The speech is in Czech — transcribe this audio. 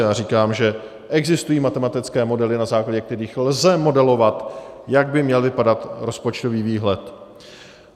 Já říkám, že existují matematické modely, na základě kterých lze modelovat, jak by měl vypadat rozpočtový výhled.